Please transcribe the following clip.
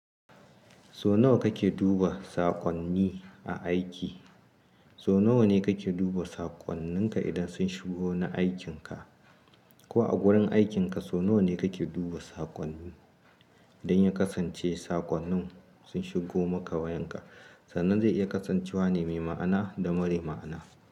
So nawa kake duba saƙonni aiki? So nawa ne kake duba saƙonninka idan sun shigo na aikinka? Ko a gurin aikinka so nawa ne kake duba saƙonni don ya kasance saƙonnin sun shigo maka wayanka? Sannan zai iya kasancewa ne mai ma'ana da mara ma'ana.